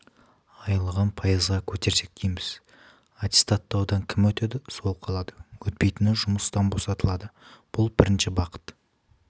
айлығын пайызға көтерсек дейміз аттестаттаудан кім өтеді сол қалады өтпейтіні жұмыстан босатылады бұл бірінші бағыт